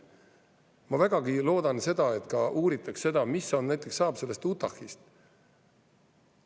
Ma väga loodan, et uuritakse ka seda, mis näiteks saab sellest Utah'st.